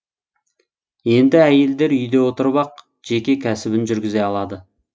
енді әйелдер үйде отырып ақ жеке кәсібін жүргізе алады